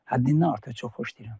Həddindən artıq çox xoşlayıram.